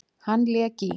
Hann lék í